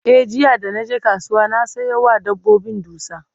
e jiya da naje kasuwa na Sayo wa dabbobin dusa